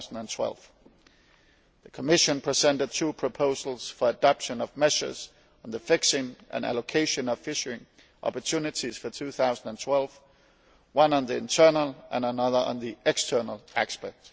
2012. The Commission presented two proposals for adoption of measures on the fixing and allocation of fishing opportunities for 2012, one on the internal aspect and the other on the external aspect.